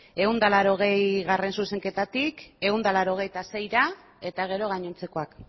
ehun eta laurogeigarrena zuzenketatik ehun eta laurogeita seira eta gero gainontzekoak